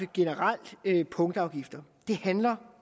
generelt vil afskaffe punktafgifter det handler